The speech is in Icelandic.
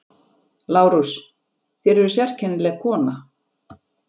LÁRUS: Þér eruð sérkennileg kona.